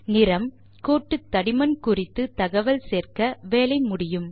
நிறம் கோட்டுத்தடிமன் குறித்து தகவல் சேர்க்க வேலை முடியும்